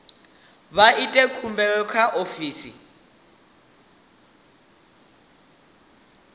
vha ite khumbelo kha ofisi